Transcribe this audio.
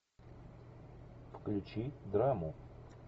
включи драму